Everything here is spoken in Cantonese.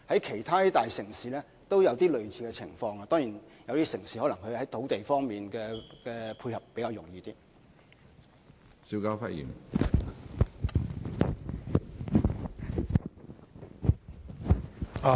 其他大城市也有類似情況，不過有些城市在土地方面的配合當然是較為容易。